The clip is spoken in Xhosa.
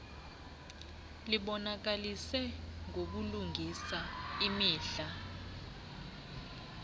libonakalise ngobulungisa imidla